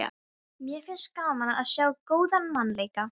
Mér finnst gaman að sjá góðan mann leika.